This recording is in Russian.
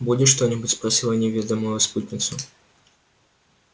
будешь что-нибудь спросил я невидимую спутницу